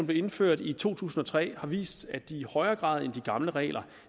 blev indført i to tusind og tre har vist at de i højere grad end de gamle regler